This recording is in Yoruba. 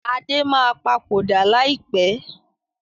Adé máa papòdà lai pẹ̀